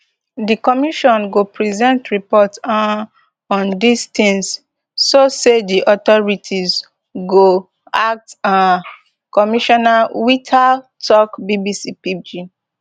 di commission go present report um on dis tins so say di authorities go act um commissioner whittal tok bbc pidgin